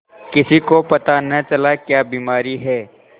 किसी को पता न चला क्या बीमारी है